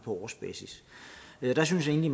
på årsbasis jeg synes egentlig